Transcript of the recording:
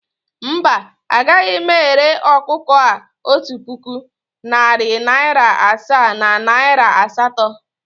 Mba, agaghị m ere ọkụkọ a otu puku, narị naịra asaa na naịra asatọ